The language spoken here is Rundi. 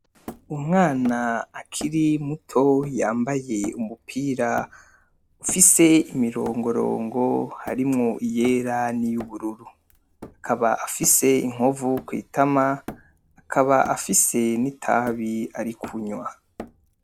Umwana akiri muto yambaye umupira ufise imirongorongo harimwo iyera n’iy’ubururu. Akaba afise inkovu kw’itama, akaba afise n’itabi arikunywa.